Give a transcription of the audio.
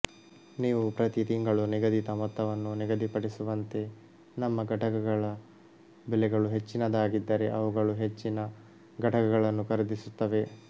ನೀವು ಪ್ರತಿ ತಿಂಗಳು ನಿಗದಿತ ಮೊತ್ತವನ್ನು ನಿಗದಿಪಡಿಸುವಂತೆ ನಮ್ಮ ಘಟಕಗಳ ಬೆಲೆಗಳು ಹೆಚ್ಚಿನದಾಗಿದ್ದರೆ ಅವುಗಳು ಹೆಚ್ಚಿನ ಘಟಕಗಳನ್ನು ಖರೀದಿಸುತ್ತವೆ